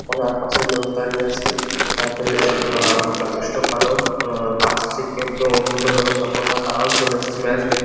তবে আর পাশে লোক দাঁড়িয়ে আছে তাতে আ-আ যথেষ্ট ভালো আ হাসছে কেউ কেউ অন্যান্য দলের সাপোর্টার তারাও চলে এসছে ম্যাচ দেখ --